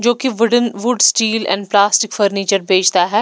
जो कि wooden wood steel and plastic furniture बेचता है।